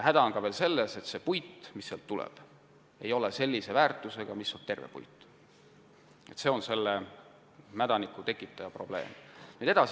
Samuti on häda selles, et see puit, mis sellisest puistust saadakse, ei ole samasuguse väärtusega nagu terve puit.